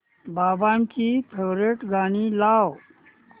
बाबांची फेवरिट गाणी लाव